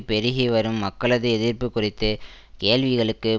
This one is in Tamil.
பெருகி வரும் மக்களது எதிர்ப்பு குறித்து கேள்விகளுக்கு